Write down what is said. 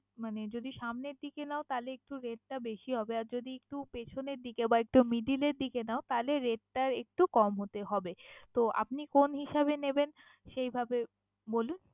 মানে যদি সামনের দিকে নাও তাইলে একটু rate টা বেশি হবে আর যদি একটু পেছনের দিকে বা একটু middle এর দিকে নাও তালে rate টা একটু কম হতে হবে। তো আপনি কোন হিসাবে নেবেন সেইভাবে বলুন?